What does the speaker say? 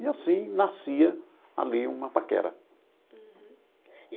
E assim nascia ali uma paquera.